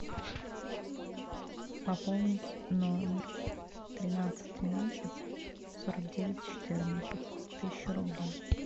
пополнить номер тринадцать тринадцать сорок девять четырнадцать тысячу рублей